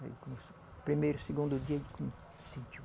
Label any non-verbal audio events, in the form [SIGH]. [UNINTELLIGIBLE] No primeiro, segundo dia, ele [UNINTELLIGIBLE]